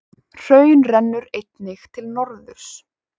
Hraun rennur einnig til norðurs.